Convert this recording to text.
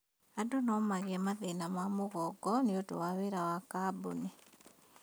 Andũ nomagie mathĩna ma mũgongo nĩũndũ wa wĩra wa kambuni